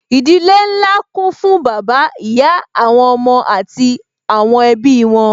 Ìdílé nlá kún fún bàbá, ìyá àwọn ọmọ àti àwọn ẹbí wọn